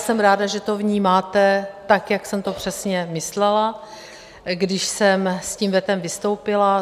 Jsem ráda, že to vnímáte tak, jak jsem to přesně myslela, když jsem s tím vetem vystoupila.